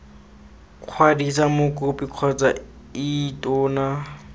kwadisa mokopi kgotsa ii tona